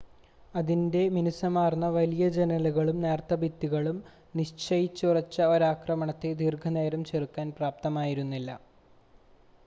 അതിൻ്റെ മിനുസമാർന്ന വലിയ ജനലുകളും നേർത്ത ഭിത്തികളും നിശ്ചയിച്ചുറച്ച ഒരാക്രമണത്തെ ദീർഘനേരം ചെറുക്കാൻ പ്രാപ്തമായിരുന്നില്ല